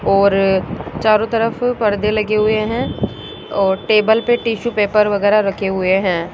और चारों तरफ परदे लगे हुए हैं और टेबल पर टिशू पेपर वगैरा रखे हुए हैं।